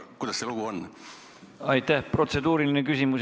Kuidas sellega lood on?